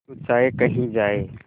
तू चाहे कही जाए